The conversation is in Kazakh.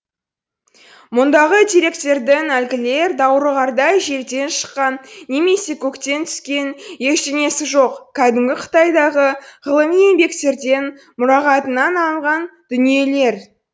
мұндағы деректердің әлгілер даурығардай жерден шыққан немесе көктен түскен ештеңесі жоқ кәдімгі қытайдағы ғылыми еңбектерден мұрағатынан алынған дүниелер